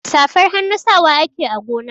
Safar hannu sawa ake a gona.